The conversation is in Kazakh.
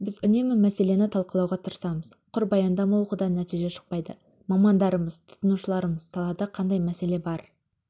біз үнемі мәселені талқылауға тырысамыз құр баяндама оқудан нәтиже шықпайды мамандарымыз тұтынушыларымыз салада қандай мәселе бар